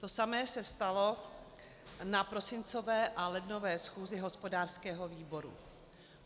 To samé se stalo na prosincové a lednové schůzi hospodářského výboru.